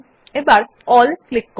এবার A L L click করুন